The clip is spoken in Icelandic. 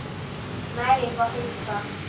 Næring og heilsa.